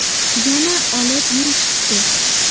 Yana olib yurishibdi.